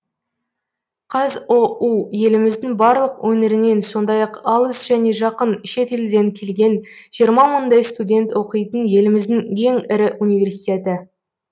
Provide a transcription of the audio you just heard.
қазұу еліміздің барлық өңірінен сондай ақ алыс және жақын шет елден келген жиырма мыңдай студент оқитын еліміздің ең ірі университеті